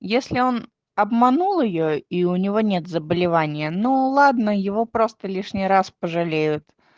если он обманул её и у него нет заболевания ну ладно его просто лишний раз пожалеют